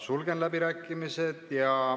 Sulgen läbirääkimised.